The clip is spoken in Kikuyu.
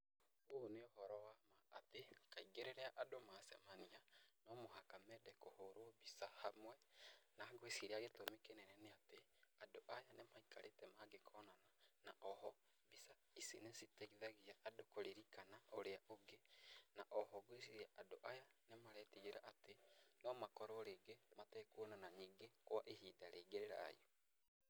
Ũũ nĩ ũhoro wa ma atĩ kaingĩ rĩrĩa andũ macemania, no mũhaka mende kũhũrwo mbica hamwe na ngwiciria gĩtũmi kĩnene nĩ atĩ, andũ aya nĩ maikarĩte mangĩkonana na o ho, mbica ici nĩ citeithagia andũ kũririkana ũrĩa ũngĩ, na o ho ngwĩciria andũ aya nĩ maretigĩra atĩ no makorwo rĩngĩ matekuonana ningĩ kwa ihinda rĩngĩ rĩraihu.